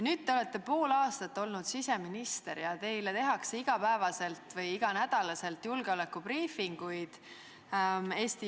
Nüüd te olete pool aastat olnud siseminister ja Eesti julgeolekuasutused teevad teile iga päev või iga nädal julgeolekubriifinguid.